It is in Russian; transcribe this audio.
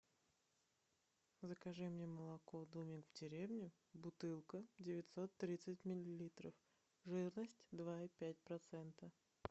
закажи мне молоко домик в деревне бутылка девятьсот тридцать миллилитров жирность два и пять процента